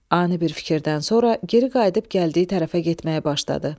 Ani bir fikirdən sonra geri qayıdıb gəldiyi tərəfə getməyə başladı.